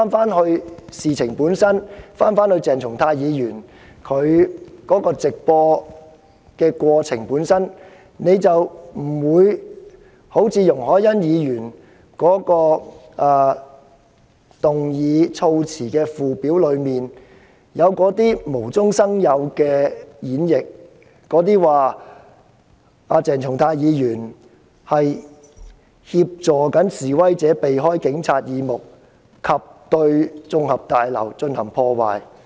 如果議員返回事情的本身，返回鄭松泰議員的直播行為本身，便不會產生容海恩議員所提議案的附表中無中生有的演繹，指鄭松泰議員"協助示威者避開警察耳目及對綜合大樓進行破壞"。